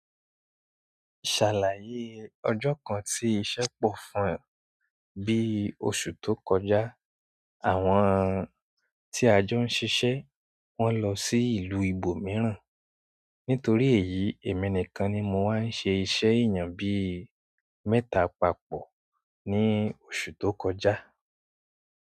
Ṣàlàyé ọjọ́ kan tí iṣẹ́ pọ̀ fún ọ. Bi oṣù to kọjá àwọn tí a jọ ń ṣiṣe wọn lọ sí ìlú ibòmíràn nítorí èyí èmi nìkan ni mo wá ṣe iṣẹ́ èèyàn bí i mẹ́ta papọ̀ ní oṣù tó kọjá.